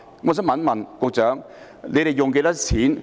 我想問局長，要花多少錢？